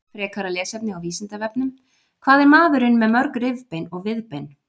Frekara lesefni á Vísindavefnum Hvað er maðurinn með mörg rifbein og viðbein?